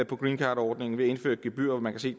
på greencardordningen ved at indføre et gebyr og man kan se